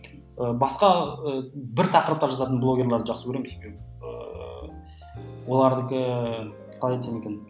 ы басқа ы бір тақырыпта жазатын блогерлерді жақсы көремін себебі оларды қалай айтсам екен